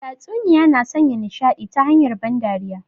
Tatsuniya na sanya nishadi ta hanyar ban dariya